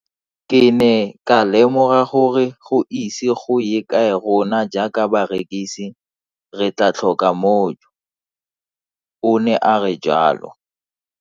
Ke ne ka lemoga gore go ise go ye kae rona jaaka barekise re tla tlhoka mojo, o ne a re jalo.